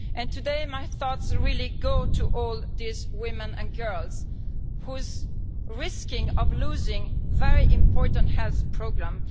Today my thoughts really go to all these women and girls who are at risk of losing a very important health programme.